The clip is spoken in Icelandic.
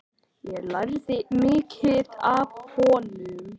Ég lærði mikið af honum.